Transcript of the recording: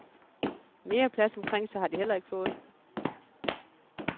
Mere plads omkring sig har de heller ikke fået.